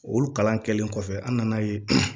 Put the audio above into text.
Olu kalan kɛlen kɔfɛ an nan'a ye